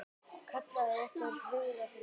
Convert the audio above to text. kallaði einhver hugaður maður.